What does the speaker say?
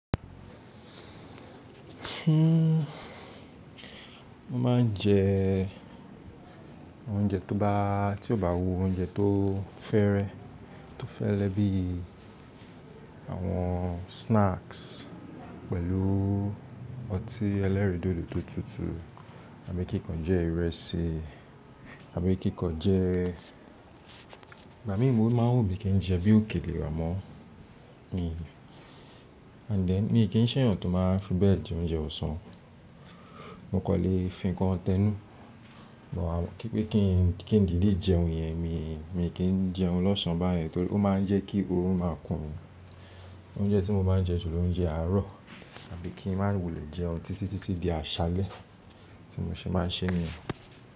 Mọ máa ń jẹ oúnjẹ tó bá, tí ó bá wo oúnjẹ tó fẹ́rẹ, tó fẹ́rẹ bí àwọn snacks pẹ̀lú ọtí ẹlẹ́rìndòdò tó tutù àbí kíkan jẹ ìrẹsì, àbí kíkan jẹ Igba mii, mo máa ń wù bíi kí n jẹ bí òkèlè àmọ́ mi. And then mi kì í ṣe èèyàn tó máa fi bẹ́ẹ̀ jẹ oúnjẹ ọ̀sán. Mo kọ́ lè fi nǹkan tẹ́nu kí pé kí n dìde jẹun yẹn, mi kì í jẹun lọ́sàn án báyen torí ó máa ń jẹ́ kí orun máa kún. Oúnjẹ tí mo má jẹ julọ oúnjẹ àárọ̀ àbí kí n má wùlé jẹun títí di àṣálẹ́ tí mo ṣe má ń ṣe nìyẹn.